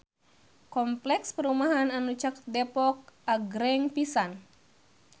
Kompleks perumahan anu caket Depok agreng pisan